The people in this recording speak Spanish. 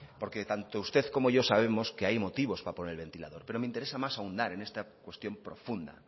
porque tanto usted como yo sabemos que hay motivos para poner el ventilador pero me interesa más ahondar en esta cuestión profunda